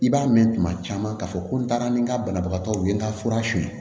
I b'a mɛn tuma caman k'a fɔ ko n taara ni n ka banabagatɔw ye n ka fura suli